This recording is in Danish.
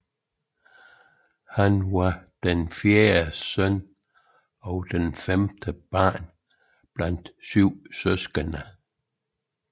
Han var den fjerde søn og femte barn blandt syv søskende